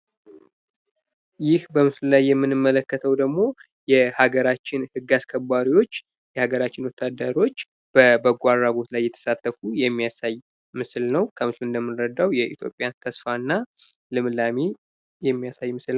ይህ በምስሉ ላይ የምንመለተው ደግሞ የሀገራችን ህግ አስከባሪዎች በበጎ አድራጎት ላይ እየተሳተፉ የሚያሳይ ምስል ነው። ከምስሉ ላይ እንደምንረዳው የኢትዮጵያ ተስፋና ልምላሜ የሚያሳይ ምስል ነው።